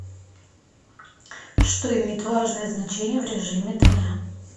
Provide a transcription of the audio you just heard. что имеет важное значение в режиме дня